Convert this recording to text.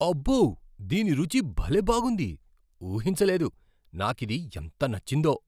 అబ్బో! దీని రుచి భలే బాగుంది, ఊహించలేదు. నాకిది ఎంత నచ్చిందో.